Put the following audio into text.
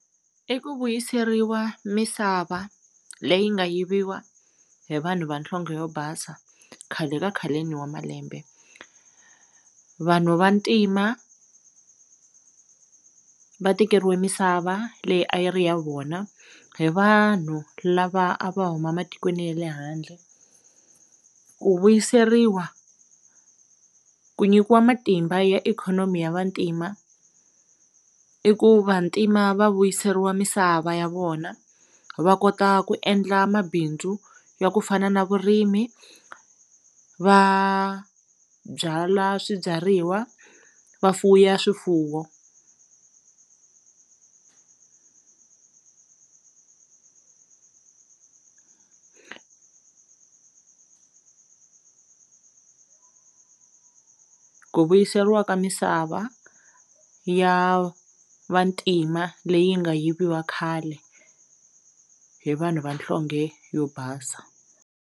I ku vuyiseriwa misava leyi nga yiviwa hi vanhu vanhlonge yo basa khale ka khaleni wa malembe vanhu va ntima va tekeriwe misava leyi a yi ri ya vona hi vanhu lava a va huma matikweni ya le handle ku vuyiseriwa ku nyikiwa matimba ya ikhonomi ya vantima i ku vantima va vuyiseriwa misava ya vona va kota ku endla mabindzu ya ku fana na vurimi va byala swibyariwa va fuya swifuwo ku vuyerisiwa ka misava ya vantima leyi nga yiviwa khale hi vanhu vanhlonge yo basa.